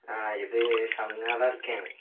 ആ ഇത് ഷംനാദ് അറക്കയാണ്